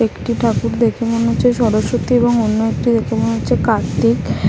একটি ঠাকুর দেখে মনে হচ্ছে সরস্বতী এবং অন্য একটি দেখে মনে হচ্ছে কার্তিক ।